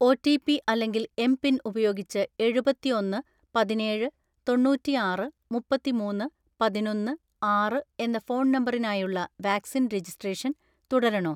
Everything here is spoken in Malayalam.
ഒ. റ്റി. പി അല്ലെങ്കിൽ എം.പിൻ ഉപയോഗിച്ച് എഴുപത്തിഒന്‍പത് പതിനേഴ് തൊണ്ണൂറ്റിആറ് മുപ്പത്തിമൂന്ന് പതിനൊന്ന്‌ ആറ് എന്ന ഫോൺ നമ്പറിനായുള്ള വാക്സിൻ രജിസ്ട്രേഷൻ തുടരണോ?